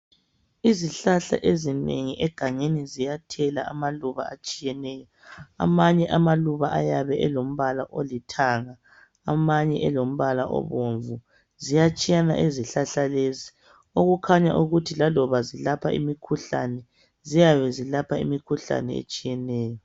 Izihlahla ezinengi egangeni ziyathela amaluba atshiyeneyo amanye amaluba ayabe elombala olithanga amanye elombala obomvu ziyatshiyana izihlahla lezi okukhanya ukuthi laloba zilapha imikhuhlane ziyabe zilapha imikhuhlane etshiyeneyo.